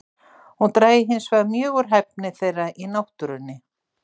Hún drægi hinsvegar mjög úr hæfni þeirra í náttúrunni.